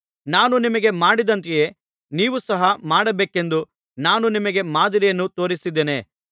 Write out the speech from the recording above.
ನಾನು ನಿಮಗೆ ಮಾಡಿದಂತೆಯೇ ನೀವು ಸಹ ಮಾಡಬೇಕೆಂದು ನಾನು ನಿಮಗೆ ಮಾದರಿಯನ್ನು ತೋರಿಸಿದ್ದೇನೆ